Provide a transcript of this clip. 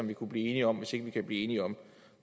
vi kunne blive enige om hvis ikke vi kan blive enige om